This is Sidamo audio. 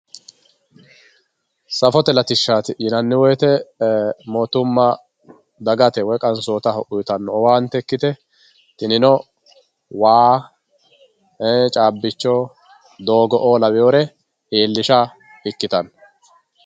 safote latishaati yinanni woyiite mootumma dagate woye qansootaho uyiitanno owante ikkite tinino waa, cabbicho, doogo"oo lawiyoore iilisha ikkitanno.